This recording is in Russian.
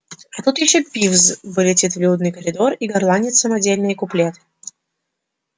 а тут ещё пивз вылетит в людный коридор и горланит самодельные куплеты